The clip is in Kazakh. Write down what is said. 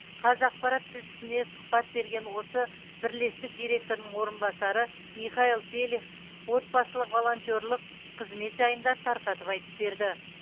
қазақпарат тілшісіне сұхбат берген осы бірлестік директорының орынбасары михаил пелих отбасылық волонтерлік қызмет жайында тарқатып айтып берді